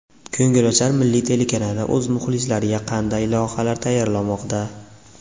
Ko‘ngilochar Milliy telekanali o‘z muxlislariga qanday loyihalar tayyorlamoqda?